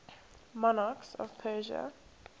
monarchs of persia